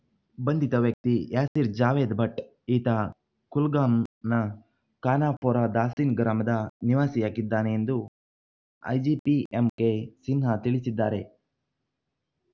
ಬಂಧಿತ ವ್ಯಕ್ತಿ ಯಾಸೀರ್ ಜಾವೇದ್ ಭಟ್ ಈತ ಕುಲ್ಗಾಮ್‌ ನ ಖಾನಾಪೋರಾ ದಾಸಿನ್ ಗ್ರಾಮದ ನಿವಾಸಿಯಾಗಿದ್ದಾನೆ ಎಂದು ಐಜಿಪಿ ಎಂಕೆ ಸಿನ್ಹಾ ತಿಳಿಸಿದ್ದಾರೆ